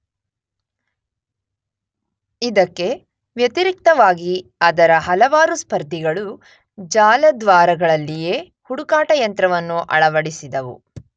ಇದಕ್ಕೆ ವ್ಯತಿರಿಕ್ತವಾಗಿ ಅದರ ಹಲವಾರು ಸ್ಪರ್ಧಿಗಳು ಜಾಲದ್ವಾರಗಳಲ್ಲಿಯೇ ಹುಡುಕಾಟ ಯಂತ್ರವನ್ನು ಅಳವಡಿಸಿದವು.